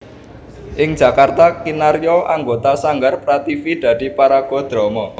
Ing Jakarta kinarya anggota Sanggar Prativi dadi paraga drama